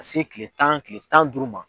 se kile tan kile tan ni duuru ma.